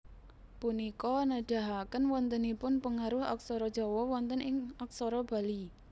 Punika nedahaken wontenipun pengaruh aksara Jawa wonten ing aksara Bali